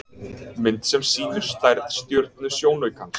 Mynd sem sýnir stærð stjörnusjónaukans.